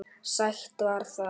Sætt var það.